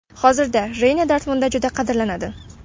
Hozirda Reyna Dortmundda juda qadrlanadi.